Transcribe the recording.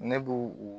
Ne b'u